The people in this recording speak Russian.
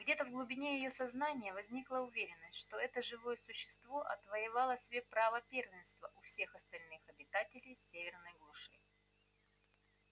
где то в глубине её сознания возникла уверенность что это живое существо отвоевало себе право первенства у всех остальных обитателей северной глуши